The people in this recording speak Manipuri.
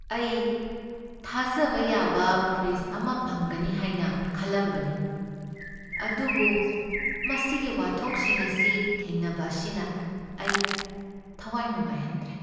ꯑꯩ ꯊꯥꯖꯕ ꯌꯥꯕ ꯐ꯭ꯔꯤꯖ ꯑꯃ ꯐꯪꯒꯅꯤ ꯍꯥꯏꯅ ꯈꯜꯂꯝꯕꯅꯤ, ꯑꯗꯨꯕꯨ ꯃꯁꯤꯒꯤ ꯋꯥꯊꯣꯛꯁꯤꯡ ꯑꯁꯤ ꯊꯦꯡꯅꯕ ꯑꯁꯤꯅ ꯑꯩ ꯊꯋꯥꯏ ꯅꯨꯡꯉꯥꯏꯍꯟꯗ꯭ꯔꯦ ꯫